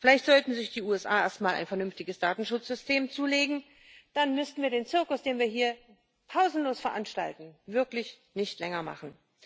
Vielleicht sollten sich die USA erst mal ein vernünftiges Datenschutzsystem zulegen, dann müssten wir den Zirkus, den wir hier pausenlos veranstalten, wirklich nicht länger machen.